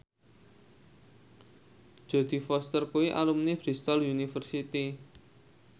Jodie Foster kuwi alumni Bristol university